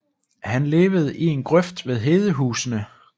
Han levede i en grøft ved Hedehusene